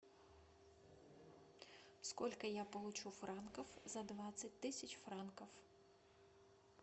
сколько я получу франков за двадцать тысяч франков